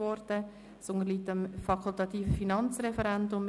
Es unterliegt dem fakultativen Finanzreferendum.